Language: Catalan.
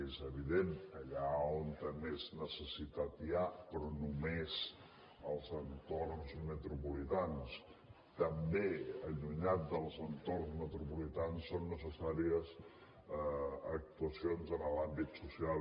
és evident allà on més necessitat n’hi ha però només als entorns metropolitans també allunyat dels entorns metropolitans són necessàries actuacions en l’àmbit social